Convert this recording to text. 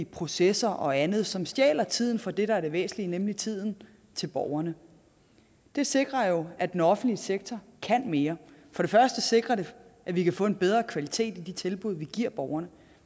processer og andet som stjæler tiden fra det der er det væsentlige nemlig tiden til borgerne det sikrer jo at den offentlige sektor kan mere for det første sikrer det at vi kan få en bedre kvalitet i de tilbud vi giver borgerne